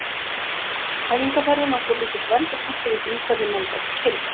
Æfingaferðin var svolítill vendipunktur í því hvernig menn gátu kynnst.